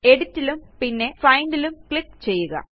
Editലും പിന്നെ Findലും ക്ലിക്ക് ചെയ്യുക